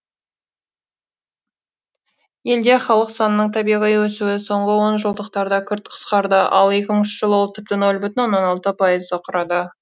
елде халық санының табиғи өсуі соңғы онжылдықтарда күрт қысқарды ал екі мыңыншы жылы ол тіпті нөл бүтін алты пайызды құрады